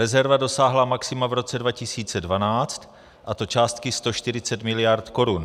Rezerva dosáhla maxima v roce 2012, a to částky 140 miliard korun.